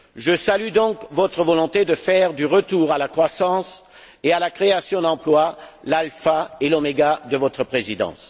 Je salue donc votre volonté de faire du retour à la croissance et à la création d'emplois, l'alpha et l'oméga de votre Présidence.